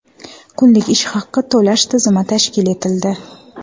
Kunlik ish haqi to‘lash tizimi tashkil etildi.